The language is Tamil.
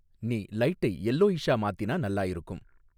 நீ லைட்டை யெல்லோயிஷ்ஷா மாத்தினா நல்லா இருக்கும்